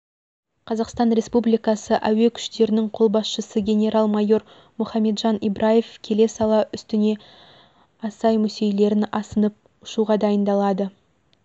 қазақстан республикасы әуе күштерінің қолбасшысы генерал-майор мұхамеджан ибраев келе сала үстіне асай-мүсейлерін асынып ұшуға дайындалады